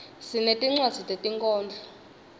sinetinwadzi tetinkhondlo